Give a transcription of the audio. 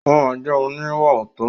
Ó máa jẹ́ oníwàòótọ́.